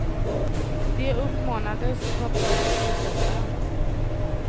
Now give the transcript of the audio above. De uppmanades ta på sig flytvästarna.